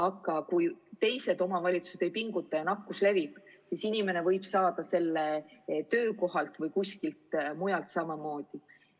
Aga kui teised omavalitsused ei pinguta ja nakkus levib, siis inimene võib saada selle töökohalt või kuskilt mujalt samamoodi.